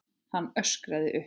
Hann öskraði upp.